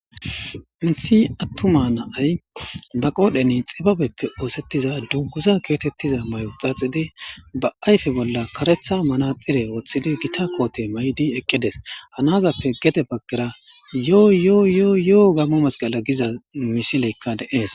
Insi attuma na'ay ba qoodheni xibabeppe oosettiza dunguza keotettiza may'o xaaxidi ba ayfe bolla karetha manaxire woththidi gita koote may'di eqqides hanazappe gede baggara yooyoo yooyo'o gammo masqala giza misileykka de'ees